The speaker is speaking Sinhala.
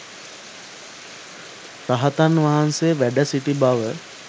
රහතන් වහන්සේ වැඩ සිටි බව